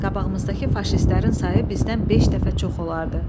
Qabağımızdakı faşistlərin sayı bizdən beş dəfə çox olardı.